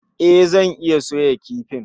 E, zan iya soya kifin